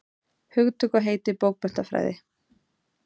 Hugtök og heiti bókmenntafræði.